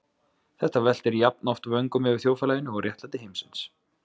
Hann veltir jafnoft vöngum yfir þjóðfélaginu og réttlæti heimsins.